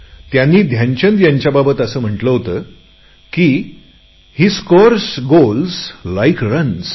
त्यांनी ध्यानचंद यांच्याबाबत असे म्हटले होते की हे स्कोर्स गोल्स लाइक रन्स